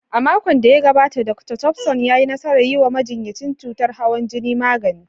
A makon da ya gabata, Dr. Thompson ya yi nasarar yi wa majinyacin cutar hawan jini magani.